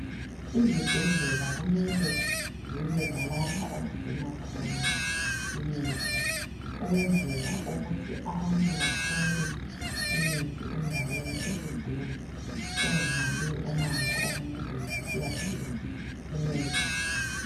Izibhedlela kumele zibe lalapha okugcinwa khona imithi ukwenzela ukuthi abantu bathole imithi endaweni eseduze bengahambi umango omude besiyadinga imithi.